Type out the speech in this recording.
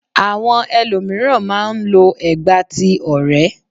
Àwọn elòmíràn má a n lo ẹ̀gbà ti orè